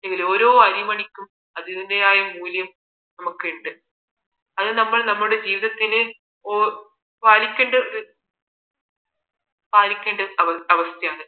ഓരോ അരിമണിക്കും അതിന്റേതായ മൂല്യം നമുക്കുണ്ട് അത് നമ്മൾ നമ്മുടെ ജീവിതത്തിൽ പാലിക്കേണ്ട ഒരു പാലിക്കേണ്ട അവസ്ഥയാണ്